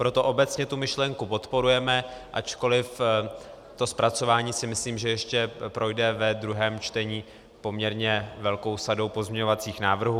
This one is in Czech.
Proto obecně tu myšlenku podporujeme, ačkoliv to zpracování si myslím, že ještě projde ve druhém čtení poměrně velkou sadou pozměňovacích návrhů.